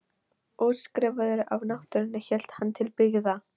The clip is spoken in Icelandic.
Útskrifaður af náttúrunni hélt hann til byggða.